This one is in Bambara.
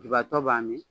Dubatɔ b'a min